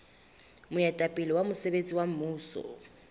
moetapele wa mosebetsi wa mmuso